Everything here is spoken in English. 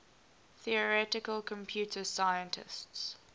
theoretical computer scientists